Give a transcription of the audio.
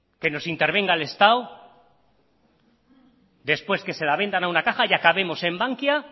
que nos intervengan el estado después que se la vendan a una caja y acabemos en bankia